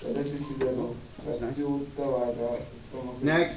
ಪ್ರದರ್ಶಿಸಿದರೂ ಶಕ್ತಿಯುತವಾದ ಉತ್ತಮ ಕೃತಿ